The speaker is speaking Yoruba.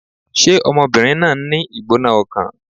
Ṣé ọmọbìnrin náà ń ní ìgbóná-ọkàn?